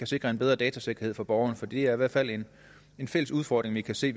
sikre en bedre datasikkerhed for borgerne for det er i hvert fald en fælles udfordring vi kan se